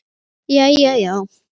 Jæja já?